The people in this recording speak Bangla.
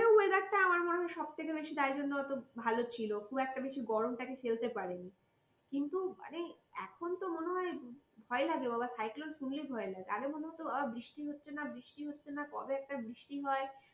আমার মনে হয় সবথেকে বেশি তাই জন্য অত ভালো ছিল খুব একটা বেশি গরম টাকে ফেলতে পারেনি। কিন্তু এবারে এখন তো মনে হয় ভয় লাগে বাবা cyclone শুনলেই ভয় লাগে, আগে মনে হতো বৃষ্টি হচ্ছে না বৃষ্টি হচ্ছে না কবে একটা বৃষ্টি হয়